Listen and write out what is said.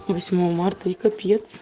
восьмого марта и капец